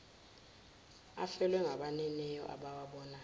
afelwe ngabaniniwo abawabayo